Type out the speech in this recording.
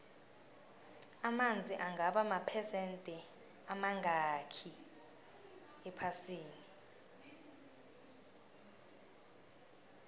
amanzi angaba maphesende amangakhi ephasini